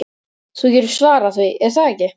Þú getur svarað því, er það ekki?